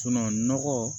nɔgɔ